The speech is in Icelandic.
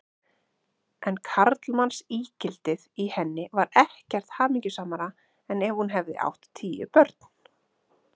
En karlmannsígildið í henni var ekkert hamingjusamara en ef hún hefði átt tíu börn.